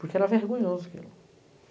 Porque era vergonhoso aquilo.